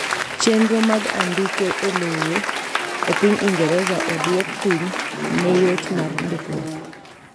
Chenro mag andike elowo epiny Ingereza oduok piny neyot mar ndikruok.